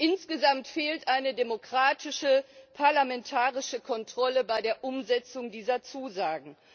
Insgesamt fehlt eine demokratische, parlamentarische Kontrolle bei der Umsetzung dieser Zusagen.